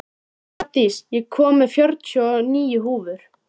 Þeir ætla sér að hafa hér bækistöð um ófyrirsjáanlega framtíð!